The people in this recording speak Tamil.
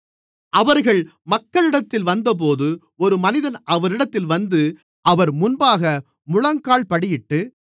அவர்கள் மக்களிடத்தில் வந்தபோது ஒரு மனிதன் அவரிடத்தில் வந்து அவர் முன்பாக முழங்கால்படியிட்டு